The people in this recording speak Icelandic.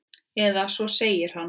Eða svo segir hann.